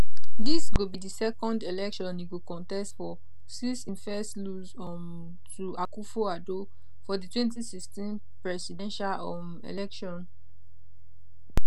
dis go be di second election e go contest for since im first lose um to akufo addo for di 2016 presidential um election